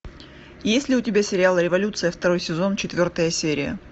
есть ли у тебя сериал революция второй сезон четвертая серия